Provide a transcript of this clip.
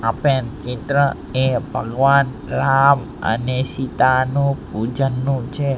આપેલ ચિત્ર એ ભગવાન રામ અને સીતાનું પૂજનનું છે.